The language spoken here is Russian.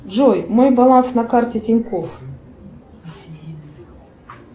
джой мой баланс на карте тинькофф